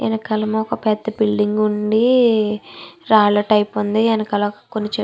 వెనకాల ఒక పెద్ద బిల్డింగ్ ఉంది. రాళ్ల టైపు ఉంది. వెనకాల కొన్ని చెట్లు --